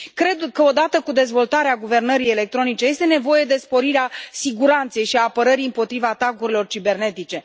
Cred că odată cu dezvoltarea guvernării electronice este nevoie de sporirea siguranței și apărării împotriva atacurilor cibernetice